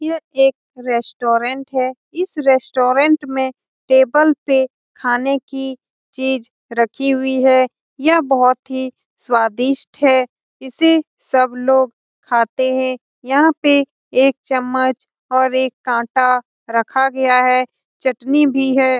यह एक रेस्टोरेंट है। इस रेस्टोरेंट में टेबल पे खाने की चीज रखी हुई है। यह बहुत ही स्वादिष्ट है। इसे सब लोग खाते हैं। यहाँ पे एक चम्मच और एक काटा रखा गया है चटनी भी है।